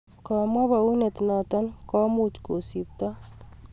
Kamwe panyunet naton kumuch kusibto